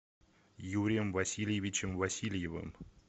юрием васильевичем васильевым